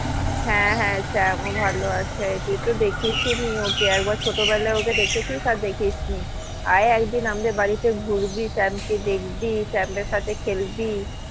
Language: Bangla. হ্যাঁ হ্যা চ্যাম ও ভালো আছে তুই তো দেখিস ই নি ওকে একবার ছোটবেলায় ওকে দেখেছিস আর দেখিসনি আয় একদিন আমাদের বাড়িতে ঘুরবি চ্যাম কে দেখবি চ্যাম এর সাথে খেলবি